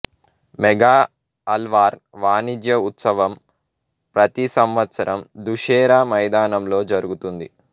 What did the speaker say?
mega Alwar వాణిజ్య ఉత్సవం ప్రతి సంవత్సరం దుషేరా మైదానంలో జరుగుతుంది